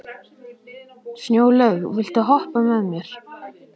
Snjólaug, viltu hoppa með mér?